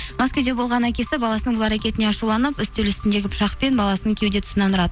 маскүйде болған әкесі баласының бұл әрекетіне ашуланып үстел үстіндегі пышақпен баласының кеуде тұсынан ұрады